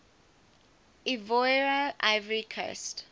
ivoire ivory coast